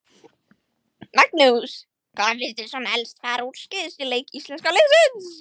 Magnús: Hvað fannst þér svona helst fara úrskeiðis í leik íslenska liðsins?